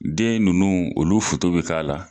Den nunnu olu foto be k'a la